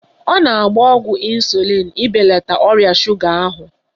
Ọ na-agba ọgwụ ịnsulịn ibelata ọrịa shuga ahụ